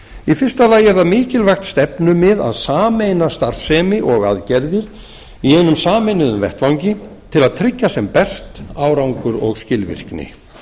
í fyrsta lagi er það mikilvægt stefnumið að sameina starfsemi og aðgerðir í einum sameinuðum vettvangi til að tryggja sem best árangur og skilvirkni